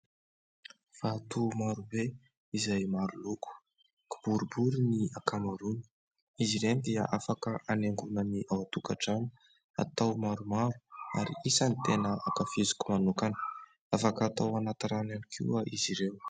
Vato maro be izay maro loko. Kiboribory ny ankamaroany. Izy ireny dia afaka hanaingoana ny ao an-tokantrano, atao maromaro ary isan'ny tena ankafiziko manokana. Afaka atao ao anaty rano ihany koa izy ireo.